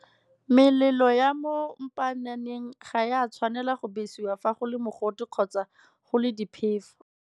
Melelo ya mo mpaananeng ga e a tshwanela go besiwa fa go le mogote kgotsa go le diphefo.